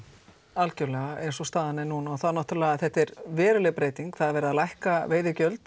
algjörlega eins og staðan er núna er þetta veruleg breyting það er verið að lækka veiðigjöld